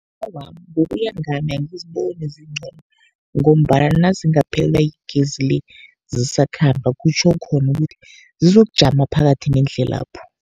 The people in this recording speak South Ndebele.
Awa, ngokuya ngami angiziboni zincono, ngombana nazingaphelelwa yigezi le zisakhamba, kutjho khona ukuthi zizokujama phakathi nendlelapho.